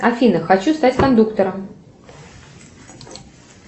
афина хочу стать кондуктором